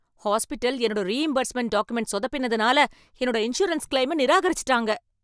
Hospital என்னோட reimbursement document சொதப்பினதுனால, என்னோட இன்சூரன்ஸ் கிளைம நிராகரிசுட்டாங்க .